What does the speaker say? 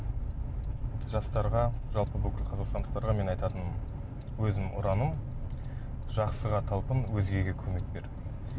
жастарға жалпы бүкіл қазақстандықтарға мен айтатыным өзімнің ұраным жақсыға талпын өзгеге көмек бер